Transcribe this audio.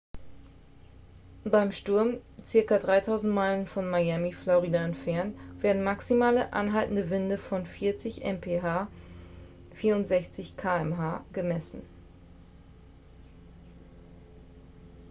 beim sturm ca. 3000 meilen von miami florida entfernt werden maximale anhaltende winde von 40 mph 64 km/h gemessen